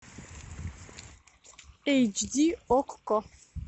эйч ди окко